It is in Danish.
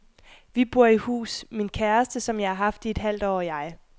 Vi bor i hus, min kæreste, som jeg har haft i et halvt år, og jeg.